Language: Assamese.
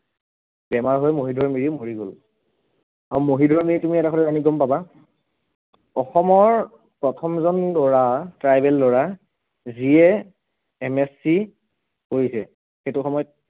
বেমাৰ হৈ মহিধৰ মিৰি মৰি গল, আৰু মহিধৰ মিৰি তুমি এটা কথা জানি গম পাবা, অসমৰ প্ৰথমজন লৰা tribal লৰা যিয়ে MSC পঢ়িছে সেইটো সময়ত